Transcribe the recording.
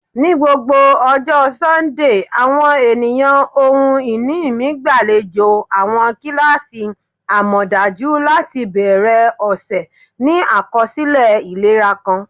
Ni gbogbo ọjọ Sundee, awọn eniyan ohun-ini mi gbalejo awọn kilasi amọdaju lati bẹrẹ ọsẹ ni akọsilẹ ilera kan.